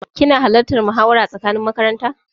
Kina halartan muhawara tsakanin makaranta?